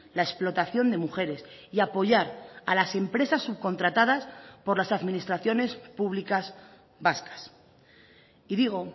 la explotación de mujeres y apoyar a las empresas subcontratadas por las administraciones públicas vascas y digo